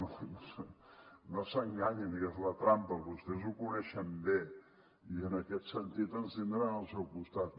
no no s’enganyin que és una trampa vostès ho coneixen bé i en aquest sentit ens tindran al seu costat